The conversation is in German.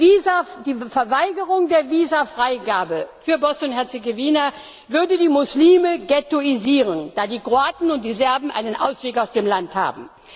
Die Verweigerung der Visafreigabe für Bosnien Herzegowina würde die Muslime ghettoisieren, da die Kroaten und die Serben einen Ausweg aus dem Land haben.